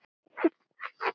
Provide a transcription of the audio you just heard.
Við skulum vinna saman.